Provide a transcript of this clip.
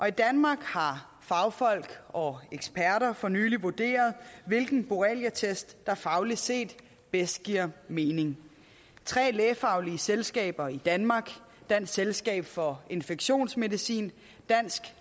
i danmark har fagfolk og eksperter for nylig vurderet hvilken borreliatest der fagligt set bedst giver mening tre lægefaglige selskaber i danmark dansk selskab for infektionsmedicin dansk